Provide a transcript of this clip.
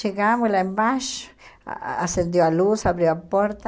Chegamos lá embaixo, acendeu a luz, abriu a porta,